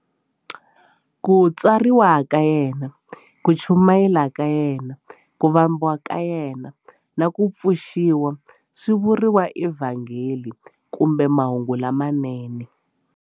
Ku tswariwa ka yena, ku chumayela ka yena, ku vambiwa ka yena, na ku pfuxiwa swi vuriwa eVhangeli kumbe Mahungu lamanene.